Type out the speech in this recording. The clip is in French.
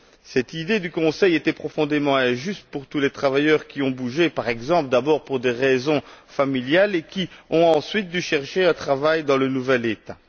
Cette idée du Conseil était profondément injuste pour tous les travailleurs qui ont bougé, par exemple, d'abord pour des raisons familiales et qui ont ensuite dû chercher un travail dans leur nouvel État.